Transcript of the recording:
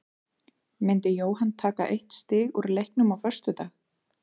Myndi Jóhann taka eitt stig úr leiknum á föstudag?